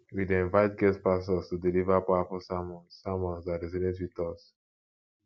we dey invite guest pastors to deliver powerful sermons sermons that resonate with us